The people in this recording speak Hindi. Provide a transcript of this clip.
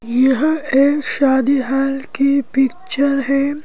यह एक शादीहाल की पिक्चर है।